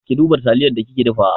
Ki duba taliyar da kike dafawa!